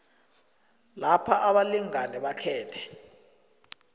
lapha abalingani bakhethe